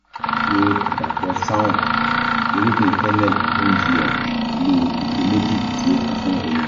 ṣe àdàpọ̀ saunf (irúgbìn fennel) 10 gm pẹ̀lú ife méjì tí ó kún fún omi